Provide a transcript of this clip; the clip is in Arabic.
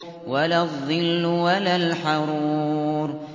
وَلَا الظِّلُّ وَلَا الْحَرُورُ